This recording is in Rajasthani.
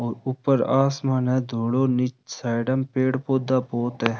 और ऊपर आसमान है धोला नीचे साइड में पेड़ पौधा बहोत है।